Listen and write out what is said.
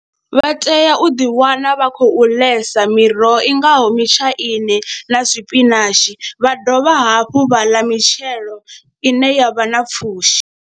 Vha tea u ḓiwana vha khou ḽesa miroho i ngaho mitshaini na zwipinashi vha dovha hafhu vha ḽa mitshelo ine ya vha na pfhushi.